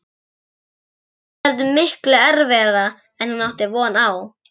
Þetta verður miklu erfiðara en hún átti von á.